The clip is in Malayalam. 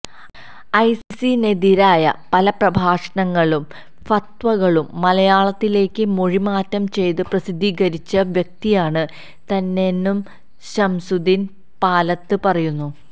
ഐസിസിനെതിരായ പല പ്രഭാഷണങ്ങളും ഫത്വകളും മലയാലത്തിലേക്ക് മൊഴിമാറ്റം ചെയ്ത് പ്രസിദ്ധീകരിച്ച വ്യക്തിയാണ് താനെന്നും ശംസുദ്ദീന് പാലത്ത് പറയുന്നു